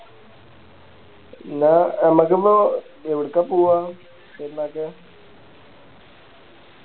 ന്നാ മ്മക്കിപ്പോ എവിടക്ക പൂവ പെരുന്നാക്ക്